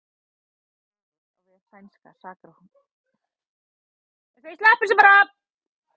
Ráðist á vef sænska saksóknarans